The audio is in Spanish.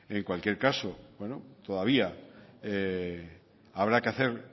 en cualquier coso todavía habrá que hacer